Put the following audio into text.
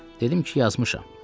Dedim ki, yazmışam.